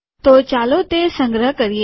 તો ચાલો તે સંગ્રહ કરીએ